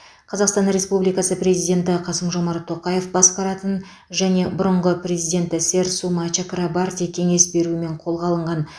қазақстан республикасы президенті қасым жомарт тоқаев басқаратын және бұрынғы президенті сэр сума чакрабарти кеңес беруімен қолға алынған